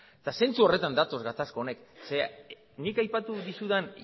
zentzu horretan datoz gatazkak hauek nik aipatu dizudan